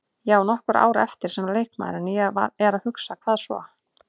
Ég á nokkur ár eftir sem leikmaður en ég er að hugsa, hvað svo?